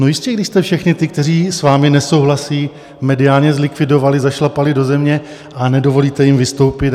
No jistě, když jste všechny ty, kteří s vámi nesouhlasí, mediálně zlikvidovali, zašlapali do země a nedovolíte jim vystoupit.